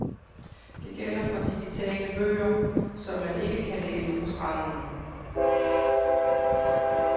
Det gælder for digitale bøger, som man ikke kan læse på stranden.